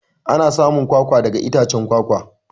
Ana samun kwakwa daga itacen kwakwa.